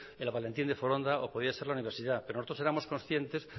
el valentín de foronda o podía ser la universidad pero nosotros éramos conscientes